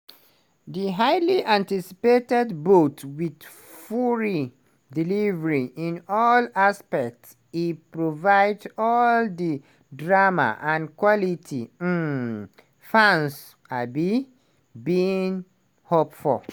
di highly anticipated bout wit fury delivery in all aspects e provide all di drama and quality um fans um bin hope for.